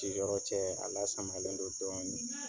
Siyɔrɔ cɛ, a lasamalen don dɔɔnin.